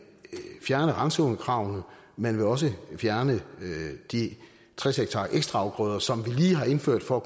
fjerne randzonekravene man vil også fjerne de tres ha ekstra afgrøder som vi lige har indført for